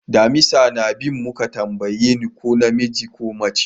Damisa na bin mu ka na tambaye ni ko na miji ko mace ne?